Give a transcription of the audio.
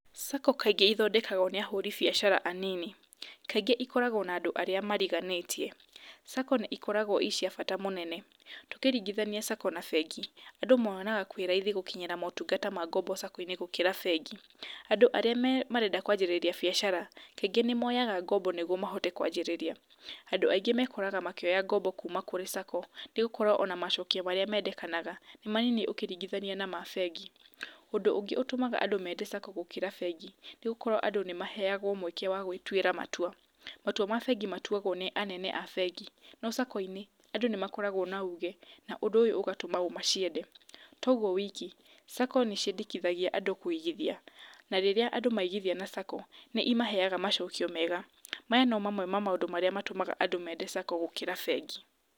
Sacco kaingĩ ithondekagwo nĩ ahũri biacara anini, kaingĩ ikoragwo na andũ arĩa mariganĩtie, sacco nĩcikoragwo cirĩ cia bata mũnene. Tũkĩringithania sacco na bengi, andũ monaga kwĩ raithi gũkinyĩra motungata ma ngombo sacco gũkĩra bengi, andũ arĩa marenda kũanjĩrĩria biacara kaingĩ nĩ moyaga ngombo nĩguo mahote kwanjĩrĩria. Andũ aingĩ mekoraga makĩoya ngombo kuuma kũrĩ sacco, nĩgũkorwo ona macokio marĩa mendekanaga nĩ manini ũkĩringithania na ma bengi. ũndũ ũngĩ ũtũmaga andũ mende sacco gũkĩra bengi, sacco andũ nĩ maheyagwo mweke wa gwĩtuĩra matua, matua mabengi matuagwo nĩ anene a bengi, no sacco-inĩ andũ nĩ makoragwo na uge, na ũndũ ũyũ ũgatũma maciende. Toguo wiki, sacco nĩciendekithagia andũ kũigithia na rĩrĩa andũ maigithia na sacco, nĩimaheyaga macokio mega, maya no maũndũ mamwe ma maũndũ marĩa matũmaga andũ mende saccoa gũkĩra bengi.